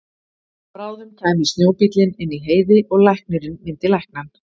Bráðum kæmi snjóbíllinn inn í Heiði og læknirinn myndi lækna hann.